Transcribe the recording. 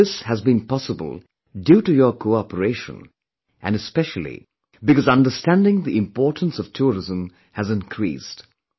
And all this has been possible due to your cooperation and especially because understanding the importance of tourism has increased